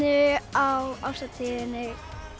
á árshátíðinni